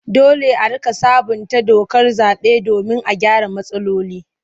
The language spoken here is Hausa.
Dole a riƙa sabunta dokar zaɓe domin a gyara matsaloli.